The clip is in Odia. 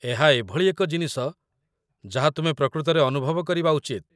ଏହା ଏଭଳି ଏକ ଜିନିଷ ଯାହା ତୁମେ ପ୍ରକୃତରେ ଅନୁଭବ କରିବା ଉଚିତ୍